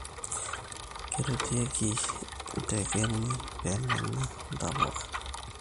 Kirutiekii intekeni pemenya intapuka